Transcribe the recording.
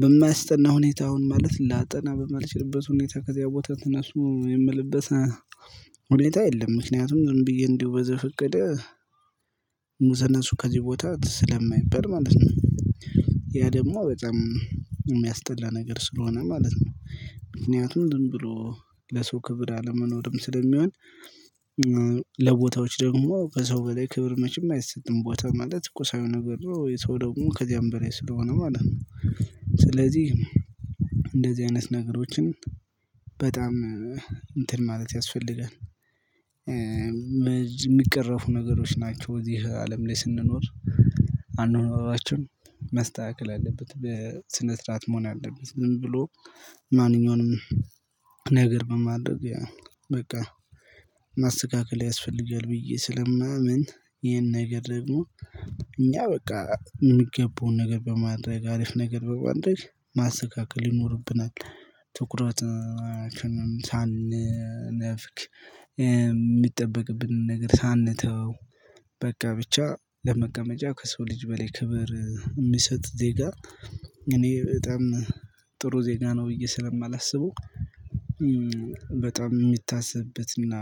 በማያስጠና ሁኔታ አሁን ማለት ላጠና በማልችልበት ሁኔታ ከዚያ ቦታ ተነሱ የምልበት ሁኔታ የለም። ምክንያቱም ዝም ብዬ እንደው በዘፍቀደ ተነሱ ከዚህ ቦታ ስለማይበል ማለት ነው። ያ ደግሞ በጣም የሚያስጠላ ነገር ስለሆነ ማለት ነው። ምክንያቱም ዝም ብሎ ለሰው ክብር አለመኖርም ስለሚሆን ለቦታዎች ደግሞ በሰው በላይ ክብር መቼም አይሰጥም ቦታ ማለት ቁሳዊ ነገር ነው። ሰው ደግሞ ከዚያም በላይ ስለሆነ ማለት ነው። ስለዚህ እንደዚህ አይነት ነገሮችን በጣም እንትን ማለት ያስፈልጋል። የሚቀረፉ ነገሮች ናቸው እዚህ አለም ላይ ስንኖር አናኖራችን መስተካከል አለበት በስነ ስርዓት መሆን አለበት። ዝም ብሎ ማንኛውንም ነገር በማድረግ በቃ ማስተካከል ያስፈልጋል። ብዬ ስለማምን ይሄን ነገር ደግሞ እኛ በቃ የምገባውን ነገር በማድረግ አሪፍ ነገር በማድረግ ማስተካከል ይኖርብናል። ትኩረታችንን ሳንነፍግ የሚጠበቅብንን ነገር ሳንተው በቃ ብቻ ለመቀመጫ ከሰው ልጅ በላይ ክብር የሚሰጥ ዜጋ እኔ በጣም ጥሩ ዜጋ ነው ብዬ ስለማላስበው። በጣም የሚታሰብበትና